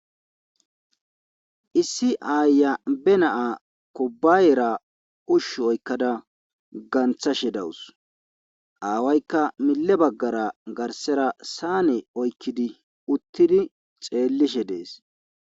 issi aayiya be na'a kubbayera ushshu oykkada ganthashe dawus aawaykka mille baggara garsera saane oykkidi uttidi xeellishe dees